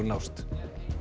nást